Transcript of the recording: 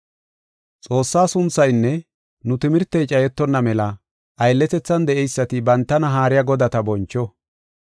Xoossaa sunthaynne nu timirtey cayetonna mela aylletethan de7eysati bantana haariya godata boncho.